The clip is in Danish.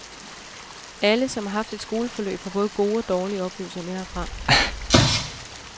Alle, som har haft et skoleforløb, har både gode og dårlige oplevelser med herfra.